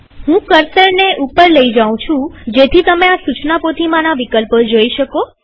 હું કર્સરને ઉપર લઇ જાઉં જેથી તમે આ સુચના પોથીમાના વિકલ્પો જોઈ શકો